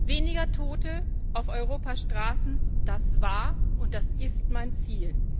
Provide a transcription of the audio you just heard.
Weniger Tote auf Europas Straßen, das war und das ist mein Ziel.